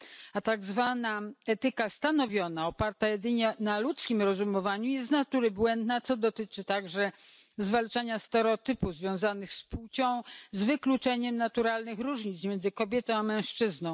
A tak zwana etyka stanowiona, oparta jedynie na ludzkim rozumowaniu jest z natury błędna, co dotyczy także zwalczania stereotypów związanych z płcią, z wykluczeniem naturalnych różnic między kobietą a mężczyzną.